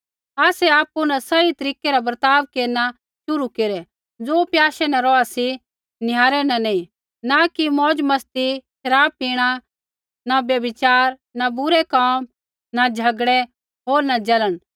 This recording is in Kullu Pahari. आसै आपु न सही तरीकै रा बर्ताव केरना शुरू केरै ज़ो प्याशै न रौहा सी निहारै न नैंई न कि मौज़मस्ती शराब पिणा न व्यभिचार न बुरै कोम न झ़गड़ै होर न जलन